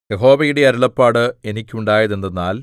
യഹോവയുടെ അരുളപ്പാട് എനിക്കുണ്ടായതെന്തെന്നാൽ